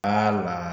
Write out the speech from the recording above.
la